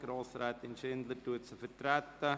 Grossrätin Schindler vertritt sie.